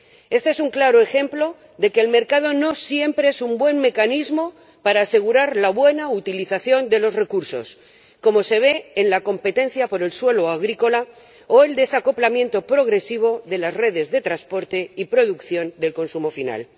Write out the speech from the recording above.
Este es un claro ejemplo de que el mercado no siempre es un buen mecanismo para asegurar la buena utilización de los recursos, como se ve en la competencia por el suelo agrícola o el desacoplamiento progresivo de las redes de transporte y producción del consumo final.